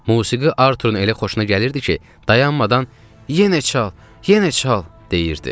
Musiqi Arturun elə xoşuna gəlirdi ki, dayanmadan yenə çal, yenə çal deyirdi.